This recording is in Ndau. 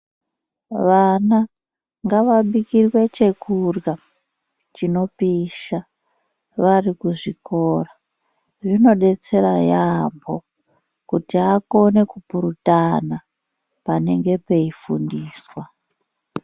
Vana ngavabijirwe chekurya chinopisha vari kuzvikora zvinodetsera yambo kuti akone kupurutana panenge peifundiswa.